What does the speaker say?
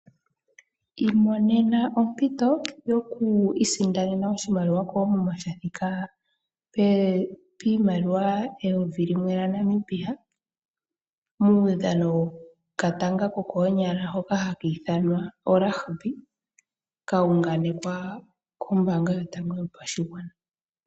Iimonena ompito yokwiisindanena oshimaliwa koomuma sha thika piimaliwa N$ 1000, muudhano wokatanga ko koonyala, hoka haka ithanwa orugby, kauunganekwa kombanga yotango yopashigwana.